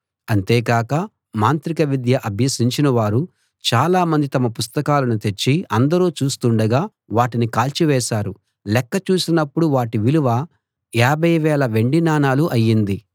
అంతేగాక మాంత్రిక విద్య అభ్యసించినవారు చాలా మంది తమ పుస్తకాలను తెచ్చి అందరూ చూస్తుండగా వాటిని కాల్చివేశారు లెక్క చూసినప్పుడు వాటి విలువ యాభై వేల వెండి నాణాలు అయింది